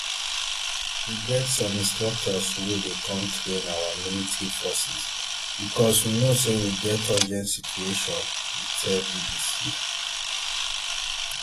we get some instructors wey dey come train our military forces becos we know say we get urgent situation e tell bbc